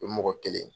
O ye mɔgɔ kelen ye